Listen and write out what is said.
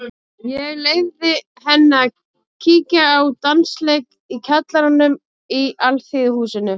Ég leyfði henni að kíkja á dansleik í kjallaranum í Alþýðuhúsinu.